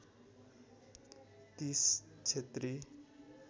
३० क्षेत्री